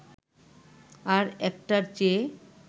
আর একটার চেয়ে